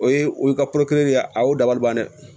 O ye o y'i ka kolo kelen de ye a y'o dabaliban dɛ